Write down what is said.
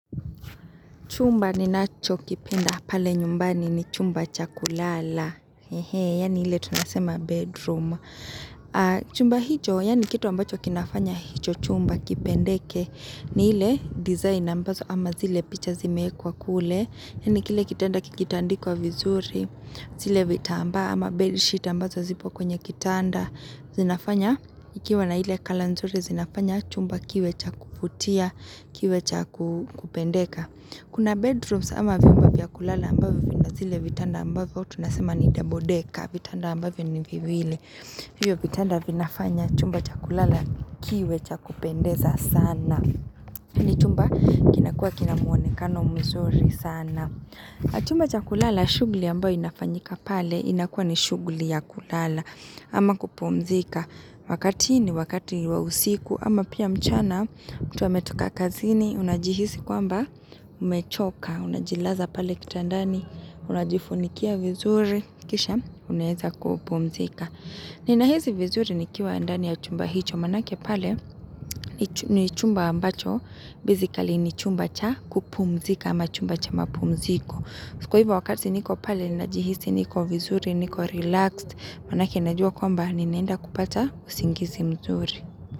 Chumba ni nacho kipenda pale nyumbani ni chumba chakulala. Hehe, yani hile tunasema bedroom. Chumba hijo, yani kito ambacho kinafanya hicho chumba kipendeke. Ni hile design ambazo ama zile picha zimeekwa kule. Yani kile kitanda kikitandikwa vizuri. Zile vitamba ama bed sheet ambazo zipo kwenye kitanda. Zinafanya, ikiwa na hile kalanzuri zinafanya chumba kiwe cha kuputia, kiwe cha kupendeka. Kuna bedrooms ama viumba vya kulala ambavyo na zile vitanda ambavyo, tunasema ni double deka, vitanda ambavyo ni viviwil. Viyo vitanda vinafanya chumba chakulala kiwe cha kupendeza sana. Ni chumba kinakua kinamuonekano mzuri sana. Chumba chakulala shugli ambavyo inafanyika pale inakua ni shugli ya kulala. Ama kupumzika wakati ni wakati ni wawusiku ama pia mchana mutu ametuoa kazini unajihisi kwamba umechoka Unajilaza pale kitandani unajifunikia vizuri kisha unaheza kupumzika Nina hezi vizuri ni kiwa andani ya chumba hicho manake pale ni chumba ambacho Basically ni chumba cha kupumzika ama chumba cha mapumziko Sikuiba wakati niko pale, najihisi niko vizuri, niko relaxed Manake najua kwamba, ninaenda kupata usingizi mzuri.